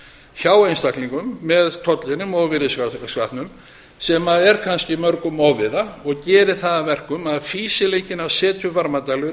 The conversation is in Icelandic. hjá einstaklingum með tollinum og virðisaukaskattinum sem er kannski mörgum ofviða og gerir það að verkum að fýsileikinn að setja upp varmadælu